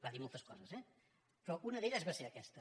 va dir moltes coses eh però una d’elles va ser aquesta